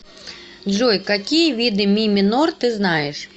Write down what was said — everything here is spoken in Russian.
джой какие виды ми минор ты знаешь